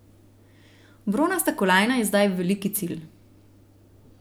Bronasta kolajna je zdaj veliki cilj.